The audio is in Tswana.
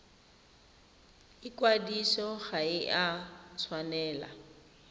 ikwadiso ga e a tshwanela